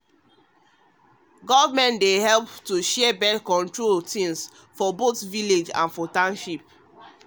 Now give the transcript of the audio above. access to stop belle wey dey guide dey fund how dem go share birth-control things for for village and township.